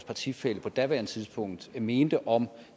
partifælle på daværende tidspunkt mente om